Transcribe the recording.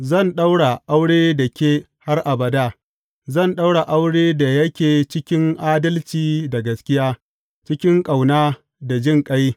Zan ɗaura aure da ke har abada; zan ɗaura aure da yake cikin adalci da gaskiya, cikin ƙauna da jinƙai.